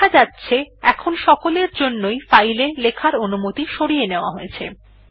দেখা যাচ্ছে এখন সকলের জন্যই ফাইল এ লেখার অনুমতি সরিয়ে নেওয়া হয়েছে